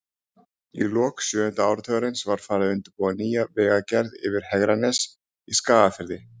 Í lok sjöunda áratugarins var farið að undirbúa nýja vegagerð yfir Hegranes í Skagafirði.